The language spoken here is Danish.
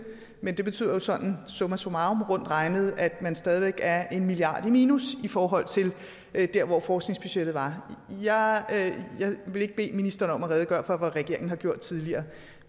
men det betyder sådan sådan summarum rundt regnet at man stadig væk er en milliard kroner i minus i forhold til hvor forskningsbudgettet var jeg vil ikke bede ministeren om at redegøre for hvad regeringen har gjort tidligere